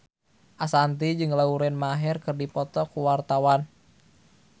Ashanti jeung Lauren Maher keur dipoto ku wartawan